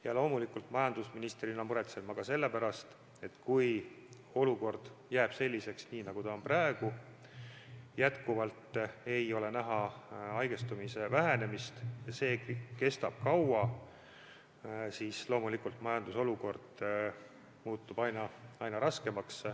Ja loomulikult, majandusministrina muretsen ma ka selle pärast, et kui olukord jääb selliseks, nagu ta on praegu – et ei ole näha haigestumise vähenemist, kriis kestab kaua –, siis loomulikult majanduse olukord muutub aina raskemaks.